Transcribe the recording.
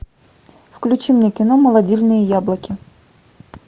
включи мне кино молодильные яблоки